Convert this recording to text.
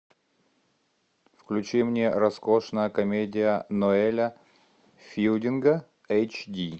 включи мне роскошная комедия ноэля филдинга эйч ди